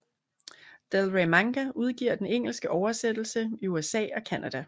Del Rey Manga udgiver den engelske oversættelse i USA og Canada